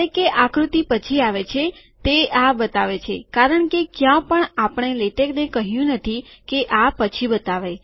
જયારે કે આકૃતિ પછી આવે છે તે આ બતાવે છે કારણ કે ક્યાં પણ આપણે લેટેકને કહ્યું નથી કે આ પછી બતાવે